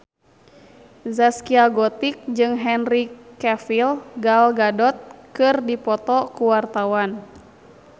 Zaskia Gotik jeung Henry Cavill Gal Gadot keur dipoto ku wartawan